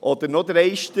Oder noch dreister: